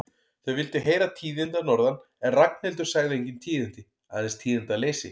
Þau vildu heyra tíðindi að norðan en Ragnhildur sagði engin tíðindi, aðeins tíðindaleysi.